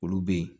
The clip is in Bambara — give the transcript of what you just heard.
Olu bɛ yen